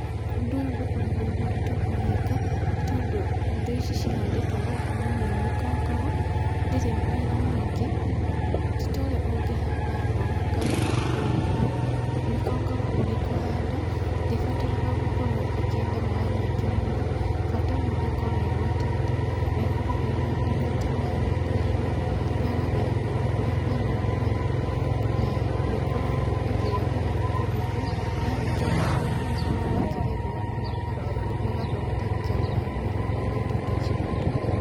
Ũndũ ũyũ ndũkoragwo wĩ mũritũ kũwĩka nĩ tondũ indo ici cihandĩtwo gũkũ na nĩyo mĩkongogo, ndĩrĩ wĩra mũingĩ, titorĩa ũngĩhanda mboga kana itũngũrũ. mĩkongoho ũrĩ kũhanda ndĩbataraga gũkorwo ĩkĩenda maĩ maingĩ mũno bata no ĩkorwo ĩgwatĩte na ĩkorwo ĩnyuĩte maĩ ma kũigana. Yagagĩra kũndũ kũrĩa kwĩna ũrugarĩ na nĩĩkoragwo ĩkĩagĩra kũndũ kũu, yarĩkia gũkũra nĩĩkoragwo ĩkĩgethwo andũ magathondeka nayo mĩkwa na indo ta ciondo.